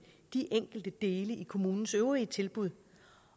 de enkelte dele i kommunens øvrige tilbud